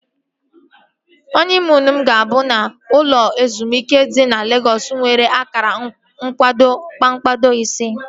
Họniimuunu m ga-abụ n'ụlọ ezumike dị na Legọs nwere akara nkwado kpakpando ise